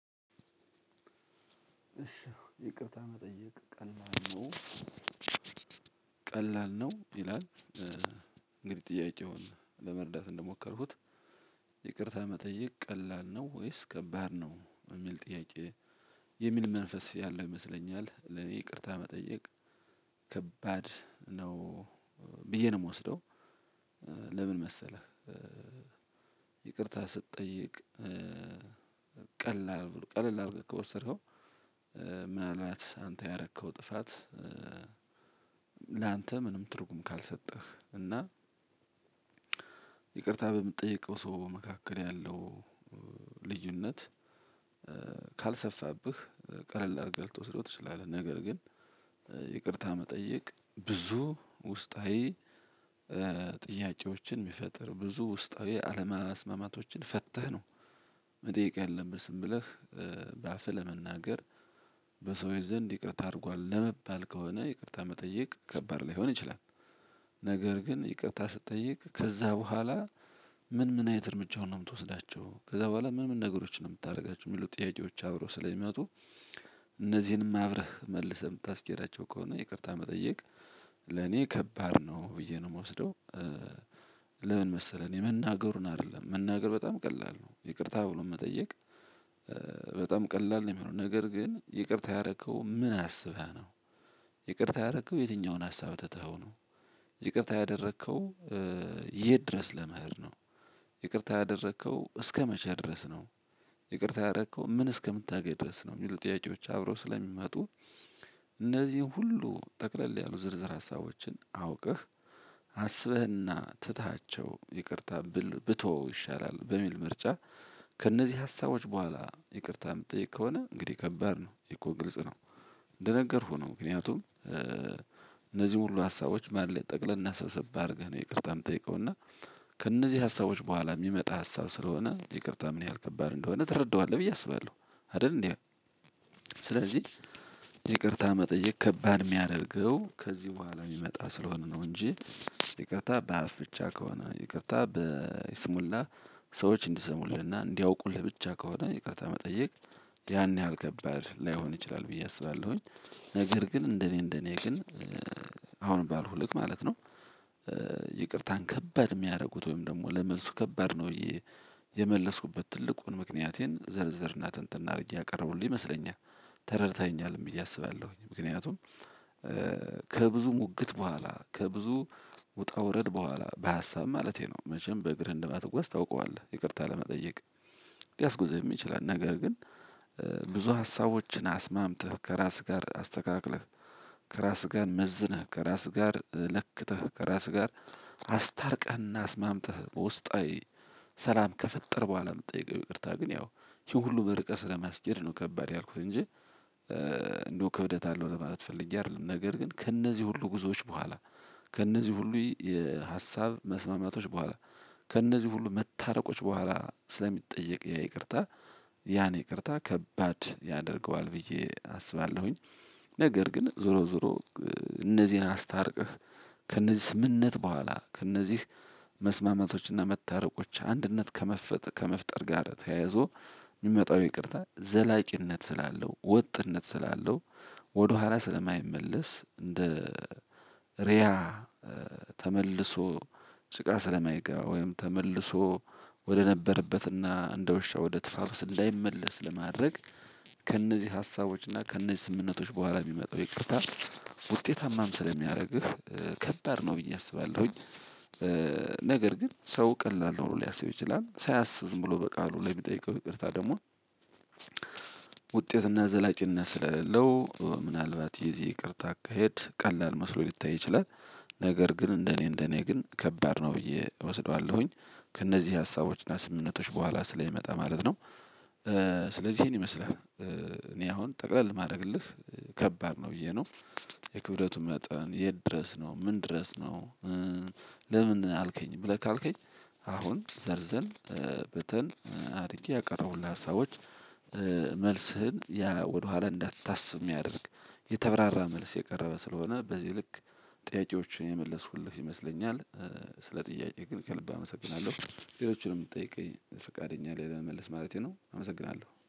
እሺ ይቅርታ መጠየቅ ቀላል ነው ቀላል ነው ይላል። እንግዲህ ጥያቄውን ለመርዳት እንደሞከርኩት ይቅርታ መጠየቅ ቀላል ነው ወይስ ከባድ ነው የሚል ጥያቄ የሚል መንፈስ ያለው ይመስለኛል። ለኔ ይቅርታ መጠየቅ ከባድ ነው ብዬ ነው የምወስደው። ለምን መሰለህ ይቅርታ ስትጠይቅ ቀላል ቀልል አድርገ ከወሰድከው ምንአልባት አንተ ያረከው ጥፋት ለአንተ ምንም ትርጉም ከልሰጠው እና ይቅርታ በምትጠይቀው ሰው መካከል ያለው ልዩነት ካልሰፋብህ ቀለል አድርገህ ልትወስደው ትችላለህ ነገር ግን ይቅርታ መጠየቅ ብዙ ውስጣዊ ጥያቄዎችን የሚፈጥር ብዙ ውስጣዊ አለመስማማቶችን ፈትህ ነው መጠየቅ ያለብህ። ዝም ብለህ በአፍህ ለመናገር በሰውዬ ዘንድ ይቅርታ አድርጓል ለመባል ከሆነ ይቅርታ መጠየቅ ከባድ ላይሆን ይችላል። ነገር ግን ይቅርታ ስትጠይቅ ከዛ በኋላ ምን ምን አይነት እርምጃውን ነው የምትወስዳቸው ከዛ በኋላ ምን ምን ነገሮችን ነው የምታደርጋቸው የሚሉ ጥያቄዎች አብረው ስለሚያወጡ እነዚህንም አብረህ መልሰህ የምታስኬዳቸው ከሆነ ይቅርታ መጠየቅ ለኔ ከባድ ነው ብዬ ነው የምወስደው። ለምን መሰለህ እኔ መናገሩን አይደለም መናገር በጣም ቀላል ነው ይቅርታ ብሎ መጠየቅ በጣም ቀላል ነው የሚሆነው ነገር ግን ይቅርታ ያረከው ምን አስበህ ነው። ይቅርታ ያደረከው የትኛውን ሀሳብ ተተኸው ነው። ይቅርታ ያደረከው የት ድረስ ለመሄድ ነው። ይቅርታ ያደረከው እስከመቻ ድረስ ነው። ይቅርታ ያደረከው ምን እስከምታገኝ ድረስ ነው። የሚሉ ጥያቄዎች አብረው ስለሚመጡ እነዚህን ሁሉ ጠቅለል ያሉ ዝርዝር ሀሳቦችን አውቅህ አስበህ አና ትተውቼው ይቅርታ ቢተው ይሻላል በሚል ምርጫ ከእነዚህ ሀሳቦች በኋላ ይቅርታ የምትጠይቅ ከሆነ እንግዲህ ከባድ ነው ይህ እኮ ግልጽ ነው እንደነገርኩህ ነው ምክንያቱም ሁሉ ሀሳቦች ማለት ጠቅለልና ሰብሰብ አደርገው ነው ይቅርታ የምጠይቀው እና ከእነዚህ ሀሳቦች በኋላ የሚመጣ ሀሳብ ስለሆነ ይቅርታ ምን ያህል ከባድ እንደሆነ ትረዳዋለህ ብዬ አስባለሁ አይደል እንዴ። ስለዚህ ይቅርታ መጠየቅ ከባድ የሚያደርገው ከዚህ በኋላ የሚመጣ ስለሆነ ነው እንጂ ይቅርታ በአፍ ብቻ ከሆነ ይቅርታ በይስሙላ ሰዎች እንድሰሙልን እና እንድያውቁልህ ብቻ ከሆነ ይቅርታ መጠየቅ የህን ያህል ከባድ ላይሆን ይችላል ብየ አስባለሁኝ። ነገር ገን እንደእኔ እንደእኔ ግን አሁን ባልኩ ልክ ማለት ነው ይቅርታን ከባድ የሚያደርጉት ወይም ደግሞ ለመልሱ ከባድ ነው ብየ የመለስኩበት ትልቁን ምክንያቴን ዘርዝርና ትንትና አርገው ያቀርቡልኝ ይመስለኛል ተረድተኸኛልም ብየ አስባለሁኝ። ምክንያቱም ከብዙ ሙግት በኋላ ከብዙ ውጣ ውረድ በኋላ በሀሳብ ማለቴ ነው መቸም በእግር አንደማትጓዝ ታውቃልህ ይቅርታ ለመጠየቅ ሊያስጉዝህ ይችላል። ነገር ግን ብዙ ሀሳቦችን አስማምተህ ከራስህ ጋ፣ አስተካክለህ፣ ከራስህ ጋር መዝነህ፣ ከራስህ ጋር ለክተህ፣ ከራስህ ጋር አስታርቀህ እና አስማምቴህ በውስጣዊ ሰላም ከፈጠር በኋላ የምትጠይቀው ይቅርታ ግን ያው ይሄን ሁሉ በርቀት ስለሚያስከድ ነው ከባድ ያልኩት እንጂ እንደው ክብደት አለው ለማለት ፈልገ አይደለም። ነገር ግን ከእነዚህ ሁሉ ጉዞዎች በኋላ ከእነዚህ ሁሉ የሀሳብ መስማማቶች በኋላ ከእነዚህ ሁሉ መታረቆች በኋላ ስለሚጠየቅ ይቅርታ ያን ይቅርታ ከባድ ያደርገዋል ብዬ አስባለሁኝ። ነገር ግን ዞሮ ዞሮ እነዚህን አስታርቅህ ከነዚህ ስምምነት በኋላ ከእነዚህ መስማማቶችና መታረቆች አንድነት ከመፍጠር ጋር ተያይዞ የሚመጣው ይቅርታ ዘላቂነት ስላለው ወጥነት ስላለው ወደኋላ ስለማይመለስ እንደ ርያ ተመልሶ ስቃይ ስለማይገባ ወይም ተመልሶ ወደነበረበትና እንደሻው ወደ ጥፋቱ እንዳይመለስ ለማድረግ ከእነዚህ ሀሳቦች እና ከእነዚህ ስምምነቶች በኋላ የሚመጣው ይቅርታ ውጤታማም ስለሚያደርግህ ከባድ ነው ብዬ አስባለሁኝ። ነገር ግን ሰው ቀላል ነው ሊያስብ ይችላል ሳያስብ ዝም ብሎ በቃሉ ላይ የሚጠይቀው ይቅርታ ደግሞ ውጤትና ዘላቂነት ስለሌለው ምናልባት የዚህ ይቅርታ አካሄድ ቀላል መስሎ ሊታይ ይችላል። ነገር ግን እንደኔ እንደኔ ግን ከባድ ነው ብዬ እወስደዋለሁኝ ከእነዚህ ሀሳቦች እና ስምምነቶች በኋላ ስለሚመጣ ማለት ነው። ስለዚህ እኔ መስለህ እኔ አሁን ጠቅለል የማድርግልህ ከባድ ነው ብዬ ነው። የክብደቱ መጠን የት ድረስ ነ፣ ምን ድረስ ነው፣ ለምን አልከኝ ብለህ ካልከኝ አሁን ዘርዘር በተን አድርጌ ያቀረቡልህ ሀሳቦች መልስህን ያ ወደኋላ እንዳታስብ የሚያደርግ የተብራራ መልስ የቀረበ ስለሆነ በዚህ ልክ ጥያቄዎችን የመለስኩልህ ይመስለኛል ስለ ጥያቄ ግን ከልብ አመሰግናለሁ። ለሎች የምትጠይቀኝ ፈቃደኛ ላይ ለመመለስ ማለቴ ነው። አመሰግናለሁ።